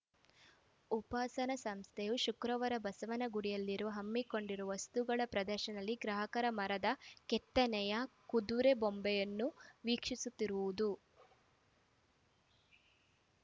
ಉಪಾಸನ ಸಂಸ್ಥೆಯು ಶುಕ್ರವಾರ ಬಸವನಗುಡಿಯಲ್ಲಿರುವ ಹಮ್ಮಿಕೊಂಡಿರುವ ವಸ್ತುಗಳ ಪ್ರದರ್ಶನದಲ್ಲಿ ಗ್ರಾಹಕರು ಮರದ ಕೆತ್ತನೆಯ ಕುದುರೆ ಬೊಂಬೆಯನ್ನು ವೀಕ್ಷಿಸುತ್ತಿರುವುದು